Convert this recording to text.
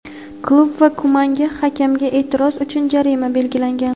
klub va Kumanga hakamga e’tiroz uchun jarima belgilangan.